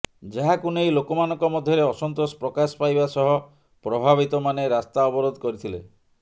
ଯାହାକୁ ନେଇ ଲୋକମାନଙ୍କ ମଧ୍ୟରେ ଅସନ୍ତୋଷ ପ୍ରକାଶ ପାଇବା ସହ ପ୍ରଭାବିତମାନେ ରାସ୍ତା ଅବରୋଧ କରିଥିଲେ